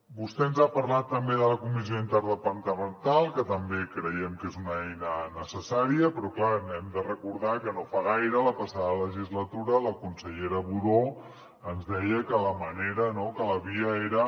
vostè ens ha parlat també de la comissió interdepartamental que també creiem que és una eina necessària però clar hem de recordar que no fa gaire la passada legislatura la consellera budó ens deia que la manera no que la via era